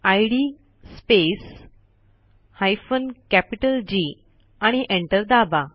इद space hyphen capital G आणि enter दाबा